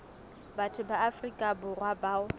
batho ba afrika borwa bao